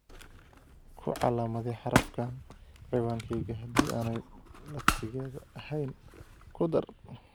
ku calaamadee xarafkan ciwaankayga haddii aanay laftigeeda ahayn ku dar